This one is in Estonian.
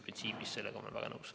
Printsiibis olen ma sellega väga nõus.